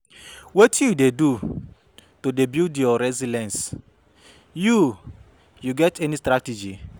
Wetin you dey do to build your resilience, you you get any strategy?